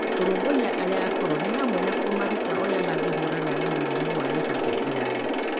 Kũrũmbũiya arĩa akũrũ nĩ hamwe na kũmaruta ũrĩa mangĩhiũrania na mĩrimũ ya ihinda iraya.